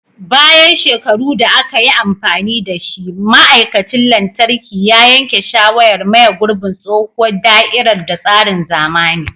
Bayan shekaru da aka yi amfani da shi, ma'aikacin lantarki ya yanke shawarar maye gurbin tsohuwar da'irar da tsarin zamani.